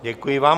Děkuji vám.